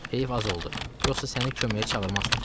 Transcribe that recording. Heyf az oldu, yoxsa səni köməyə çağırmazdım.